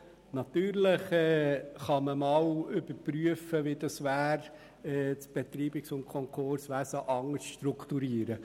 Natürlich kann man überprüfen, wie es wäre, das Betreibungs- und Konkurswesen anders zu strukturieren.